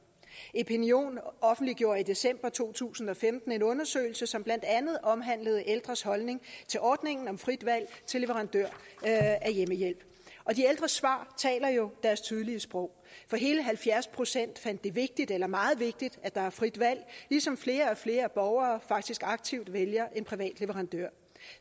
epinion offentliggjorde i december to tusind og femten en undersøgelse som blandt andet omhandlede ældres holdning til ordningen om frit valg til leverandør af hjemmehjælp og de ældres svar taler jo deres tydelige sprog for hele halvfjerds procent fandt det vigtigt eller meget vigtigt at der er frit valg ligesom flere og flere borgere faktisk aktivt vælger en privat leverandør